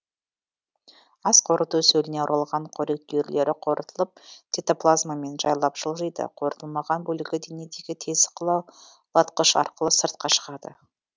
асқорыту сөліне оралған қорек түйірлері қорытылып цитоплазмамен жайлап жылжиды қорытылмаған бөлігі денедегі тесік қылаулатқыш арқылы сыртқа шығады